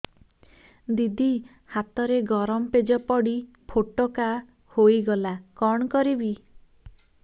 ଦିଦି ହାତରେ ଗରମ ପେଜ ପଡି ଫୋଟକା ହୋଇଗଲା କଣ କରିବି